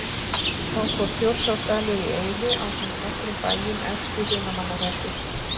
Þá fór Þjórsárdalur í eyði ásamt nokkrum bæjum efst í Hrunamannahreppi.